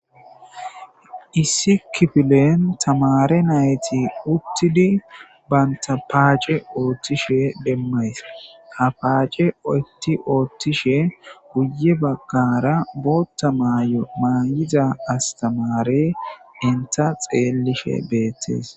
issi kifilen tamare nayti uttidi banta paace oothtishe demmays a paace oytti oottishe guye baggara bootta maay7o maayiza astamare inta xeellishe beettes